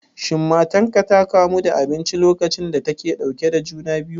Shin matarka ta kamu da abinci lokacin da take ɗauke da juna biyu?